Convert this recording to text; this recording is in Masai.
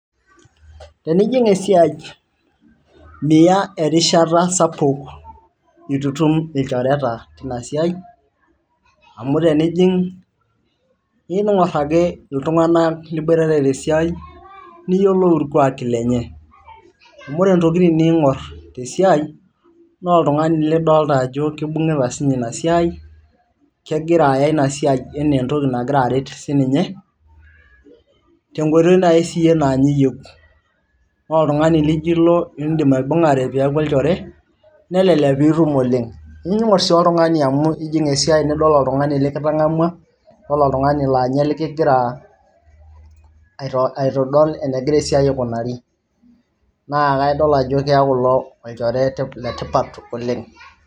tenijing esiai miya erishata sapuk itu itum ilchoreta tina siai amu tenijing niing'orr ake iltung'anak liboitare tesiai niyiolou irkuaki lenye amu ore intokitin niing'orr tesiai naa oltung'ani lidolta ajo kibung'ita siinye ina siai kegira aya ina siai enaa entoki nagira aret sininye tenkoitoi naaji siiyie naanye iyieu ore oltung'ani lijo ilo indim aibung'are peeku olchore nelelek piitum oleng niing'orr sii oltung'ani amu ijing esiai nidol oltung'ani likitang'amua olo oltung'ani laa ninye likigira aitodol enegira esiai aikunari naa kaidol ajo keeku ilo olchore letipat oleng.